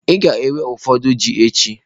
Ị ga-ewe ụfọdụ ji echi.